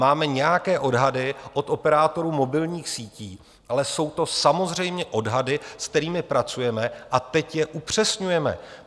Máme nějaké odhady od operátorů mobilních sítí, ale jsou to samozřejmě odhady, se kterými pracujeme, a teď je upřesňujeme.